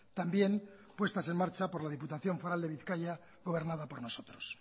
también puesta en marcha por la diputación foral de bizkaia gobernada por nosotros